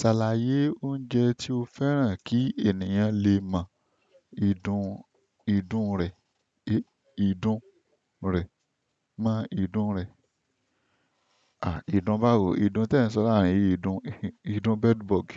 Ṣàlàyé oúnjẹ tí o fẹ́ràn kí ènìyàn lè mọ ìdun, ìdun rẹ̀, ìdun rẹ̀, mọ ìdun rẹ̀. Ìdun báwo, ìdun tí ẹ ń sọ láàárín ìdun, ìdun bedbug.